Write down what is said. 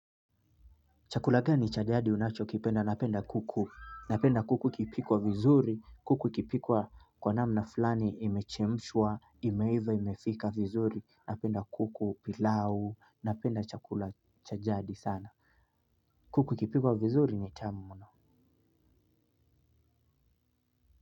Chakula gani cha jadi unachokipenda. Napenda kuku. Napenda kuku ikipikwa vizuri. Kuku ikipikwa kwa namna fulani imechemshwa. Imeiva imefika vizuri. Napenda kuku pilau. Napenda chakula chajadi sana. Kuku ikipikwa vizuri ni tamu mno.